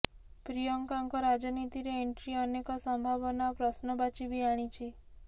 ପ୍ରିୟଙ୍କାଙ୍କ ରାଜନୀତିରେ ଏଣ୍ଟ୍ରି ଅନେକ ସମ୍ଭାବନା ଓ ପ୍ରଶ୍ନବାଚୀ ବି ଆଣିଛି